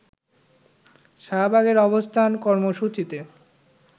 শাহবাগের অবস্থান কর্মসূচিতে